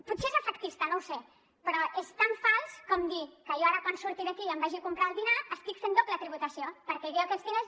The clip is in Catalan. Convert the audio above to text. potser és efectista no ho sé però és tan fals com dir que jo ara quan surti d’aquí i em vagi a comprar el dinar estic fent doble tributació perquè jo aquests diners